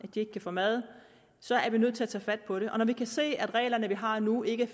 de ikke kan få mad så er vi nødt til at tage fat på det og når vi kan se at de regler vi har nu ikke